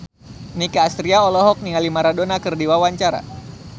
Nicky Astria olohok ningali Maradona keur diwawancara